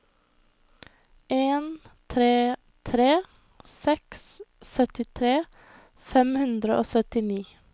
en tre tre seks syttitre fem hundre og syttini